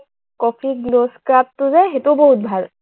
copy গ্লজ কাটটো যে সেইটোও বহুত ভাল